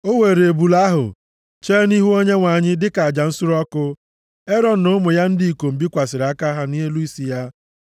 O weere ebule ahụ, chee nʼihu Onyenwe anyị, dịka aja nsure ọkụ. Erọn na ụmụ ya ndị ikom bikwasịrị aka ha nʼelu isi ya.